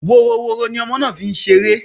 Woroworo ní ọmọ náà fí ń ṣeré